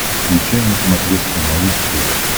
включай на смотрешке малыш тв